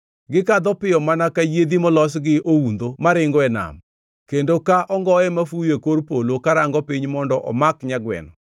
Gikadho piyo mana ka yiedhi molos gi oundho maringo e nam, kendo ka ongoe mafuyo e kor polo karango piny mondo omak nyagweno.